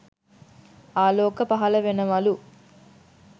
ආලෝක පහල වෙනවලු.